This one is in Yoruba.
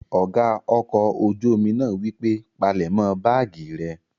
Ọ̀gá ọkọ̀ ojú-omi náà wípé, "palẹ̀mọ́ báàgì rẹ!"